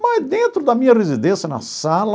Mas dentro da minha residência, na sala,